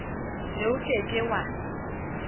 ne o ke ke wa